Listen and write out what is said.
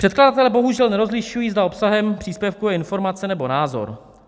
Předkladatelé bohužel nerozlišují, zda obsahem příspěvku je informace, nebo názor.